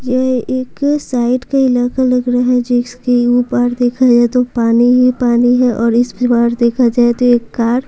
ये एक साइड का इलाका लग रहा है जिसके ऊपर देखा जाए तो पानी ही पानी है और इसके बार देखा जाए तो एक कार --